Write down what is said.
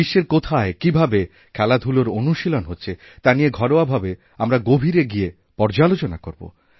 বিশ্বের কোথায় কীভাবে খেলাধূলার অনুশীলন হচ্ছে তা নিয়ে ঘরোয়া ভাবে আমরা গভীরে গিয়েপর্যালোচনা করব